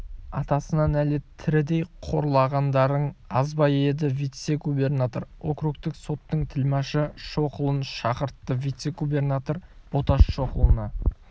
атасына нәлет тірідей қорлағандарың аз ба еді вице-губернатор округтік соттың тілмашы шоқұлын шақыртты вице-губернатор боташ шоқұлына